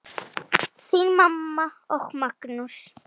Þín mamma og Magnús.